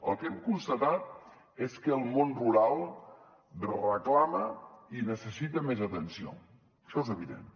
el que hem constatat és que el món rural reclama i necessita més atenció això és evident